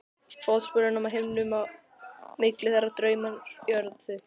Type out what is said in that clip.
Fótsporum á himnum, á milli þeirra Draumar á jörðu.